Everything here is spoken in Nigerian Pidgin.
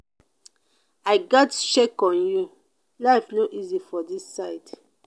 i gatz check on you life no easy for this side.